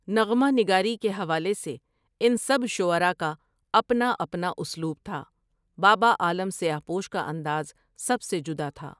نغمہ نگاری کے حوالے سے اِن سب شعرا کا اپنا اپنا اسلوب تھا بابا عالم سیاہ پوش کا انداز سب سے جُدا تھا ۔